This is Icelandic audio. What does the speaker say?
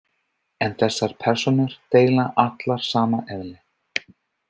En þessar persónur deila allar sama eðli.